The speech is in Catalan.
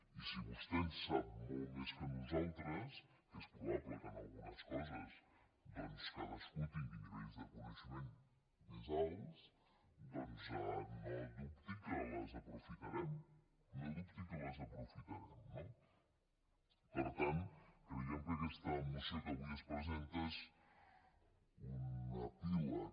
i si vostè en sap molt més que nosaltres que és probable que en algunes coses doncs cadascú tingui nivells de coneixement més alts no dubti que les aprofitarem no dubti que les aprofitarem no per tant creiem que aquesta moció que avui es presenta és un epíleg